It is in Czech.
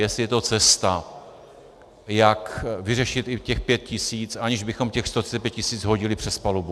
Jestli je to cesta, jak vyřešit i těch 5 tisíc, aniž bychom těch 135 tisíc hodili přes palubu.